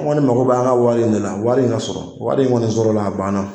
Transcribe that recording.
N kɔni ne mako b'an ka wari in de la wari in ka sɔrɔ wari in kɔni sɔrɔla a banna